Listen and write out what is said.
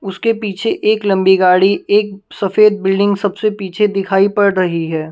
उसके पीछे एक लंबी गाड़ी एक सफेद बिल्डिंग सबसे पीछे दिखाई पड़ रही है ।